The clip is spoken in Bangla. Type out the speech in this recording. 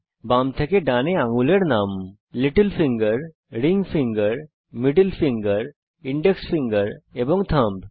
বাম থেকে ডানে আঙ্গুলের নাম little finger ring finger middle finger index finger এবং থাম্ব